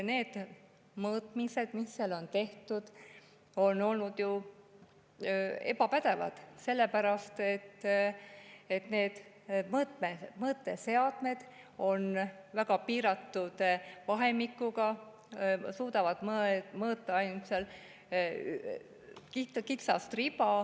Need mõõtmised, mis seal on tehtud, on olnud ju ebapädevad, sest need mõõteseadmed on väga piiratud vahemikuga, nad suudavad mõõta ainult kitsast riba.